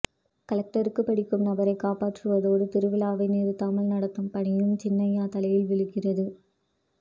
கலெக்டருக்கு படிக்கும் நபரை காப்பாற்றுவதோடு திருவிழாவை நிறுத்தாமல் நடத்தும் பணியும் சின்ன அய்யா தலையில் விழுகிறது